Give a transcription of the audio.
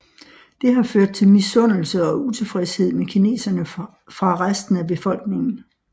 Det har ført til misundelse og utilfredshed med kineserne fra resten af befolkningen